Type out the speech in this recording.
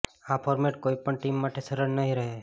આ ફોર્મેટ કોઈ પણ ટીમ માટે સરળ નહીં રહે